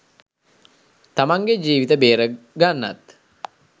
තමන්ගේ ජීවිත බේරගන්නත්